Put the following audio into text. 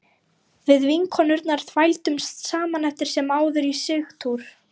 Við vinkonurnar þvældumst saman eftir sem áður í Sigtún